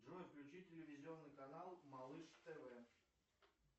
джой включи телевизионный канал малыш тв